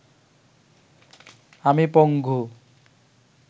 আমি পঙ্গু